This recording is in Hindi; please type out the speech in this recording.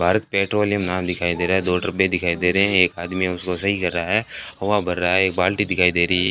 भारत पेट्रोलियम नाम दिखाई दे रहा है दो डब्बे दिखाई दे रहे हैं एक आदमी उसको सही कर रहा है हवा भर रहा है एक बाल्टी दिखाई दे रही है।